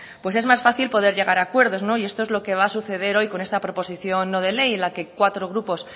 pues es más fácil poder llegar a acuerdo y esto lo que va a suceder hoy con esta proposición no de ley en la que cuatro grupos